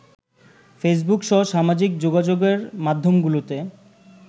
ফেসবুকসহ সামাজিক যোগাযোগের মাধ্যমগুলোতে